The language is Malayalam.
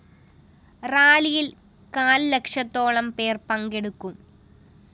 റാലിയില്‍ കാല്‍ ലക്ഷത്തോളം പേര്‍ പങ്കെടുക്കും